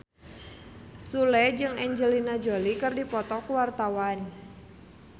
Sule jeung Angelina Jolie keur dipoto ku wartawan